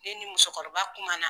Ne ni musokɔrɔba kuma na.